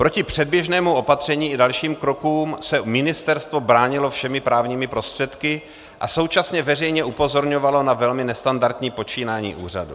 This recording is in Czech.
Proti předběžnému opatření i dalším krokům se ministerstvo bránilo všemi právními prostředky a současně veřejně upozorňovalo na velmi nestandardní počínání úřadu.